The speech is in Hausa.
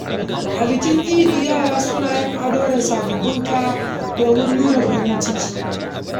A bikin idi, yara suna yin ado da sababbin kaya domin nuna farin ciki.